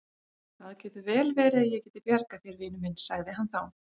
Það getur vel verið að ég geti bjargað þér, vinur minn sagði hann þá.